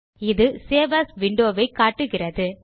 இது save as window வை காட்டுகிறது